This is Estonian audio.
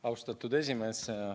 Austatud esimees!